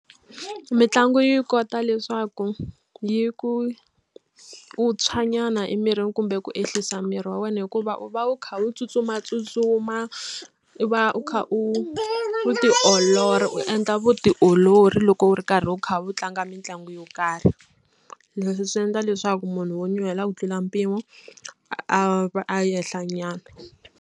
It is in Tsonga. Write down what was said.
Mitlangu yi kota leswaku yi ku u tshwa nyana emirini kumbe ku ehlisa miri wa wena hikuva u va u kha u tsutsumatsutsuma u va u kha u ti olola u endla vutiolori loko u ri karhi u kha u tlanga mitlangu yo karhi leswi swi endla leswaku munhu wo nyuhela ku tlula mpimo a va a ehla nyana.